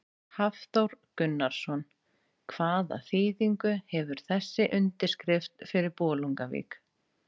Hafþór Gunnarsson: Hvaða þýðingu hefur þessi undirskrift fyrir Bolungarvík?